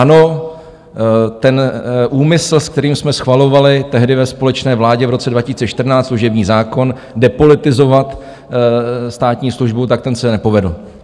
Ano, ten úmysl, se kterým jsme schvalovali tehdy ve společné vládě v roce 2014 služební zákon, depolitizovat státní službu, tak ten se nepovedl.